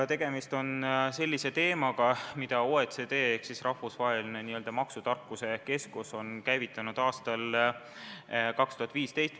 Tegemist on sellise teemaga, mille OECD ehk rahvusvaheline n-ö maksutarkuse keskus käivitas aastal 2015.